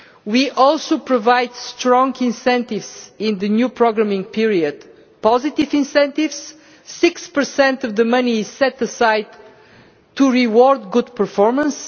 We are also providing strong incentives in the new programming period positive incentives 6 of the money set aside to reward good performance